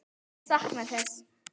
Ég sakna þess.